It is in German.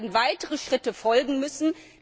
Es werden weitere Schritte folgen müssen.